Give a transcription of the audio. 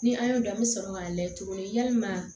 Ni an y'o dɔn an bɛ sɔrɔ k'a layɛ tuguni yalima